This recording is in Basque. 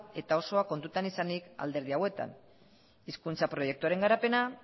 eta osoa kontutan izanik alderdi hauetan hizkuntza proiektuaren garapenean